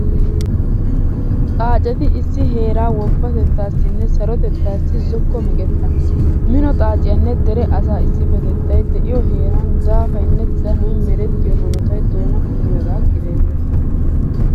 Xaaceti issi heeraa woppatettaassinne sarotettaassi zokko meqetta. Mino xaaciyanne dere asaa issippetettay de'iyo heeran daafaynne danoy merettiyo hanotay doona kumiyagaa gidenna.